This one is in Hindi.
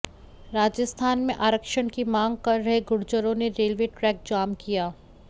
राजस्थान में आरक्षण की मांग कर रहे गुर्जरों ने रेलवे ट्रैक जाम किया